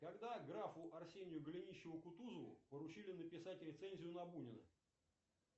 когда графу арсению голенищеву кутузову поручили написать рецензию на бунина